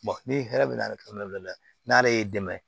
ni hɛrɛ bɛ na la n'ale y'i dɛmɛ